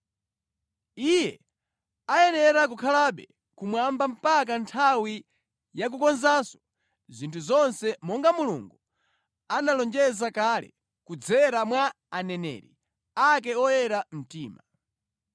Iye ayenera kukhalabe kumwamba mpaka nthawi ya kukonzanso zinthu zonse monga Mulungu analonjeza kale kudzera mwa aneneri ake oyera mtima.